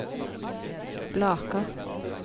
Blaker